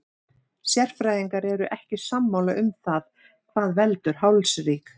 Sérfræðingar eru ekki sammála um það hvað veldur hálsríg.